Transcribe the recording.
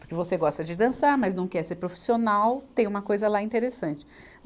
Porque você gosta de dançar, mas não quer ser profissional, tem uma coisa lá interessante.